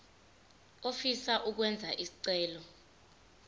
ofisa ukwenza isicelo